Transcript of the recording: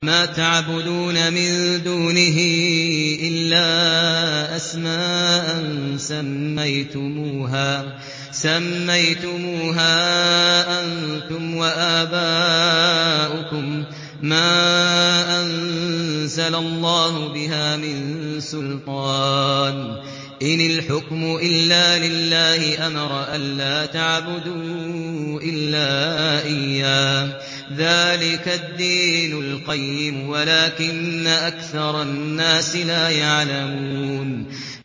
مَا تَعْبُدُونَ مِن دُونِهِ إِلَّا أَسْمَاءً سَمَّيْتُمُوهَا أَنتُمْ وَآبَاؤُكُم مَّا أَنزَلَ اللَّهُ بِهَا مِن سُلْطَانٍ ۚ إِنِ الْحُكْمُ إِلَّا لِلَّهِ ۚ أَمَرَ أَلَّا تَعْبُدُوا إِلَّا إِيَّاهُ ۚ ذَٰلِكَ الدِّينُ الْقَيِّمُ وَلَٰكِنَّ أَكْثَرَ النَّاسِ لَا يَعْلَمُونَ